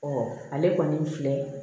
ale kɔni filɛ